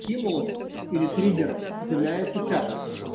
символом или триггером является театр